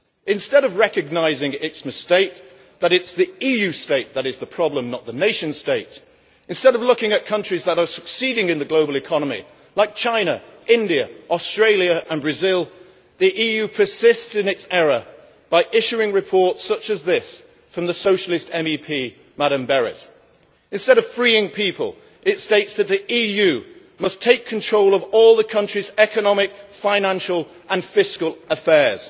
Instead of recognising its mistake that it is the EU state that is the problem, not the nation state instead of looking at countries that are succeeding in the global economy, like China, India, Australia and Brazil, the EU persists in its error by issuing reports such as this from the Socialist MEP Madame Berès. Instead of freeing people, it states that the EU must take control of all the countries' economic, financial and fiscal affairs.